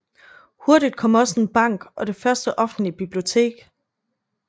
Hurtigt kom også en bank og det første offentlige bibliotek